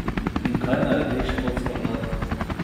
In kaj naredi škotska vlada?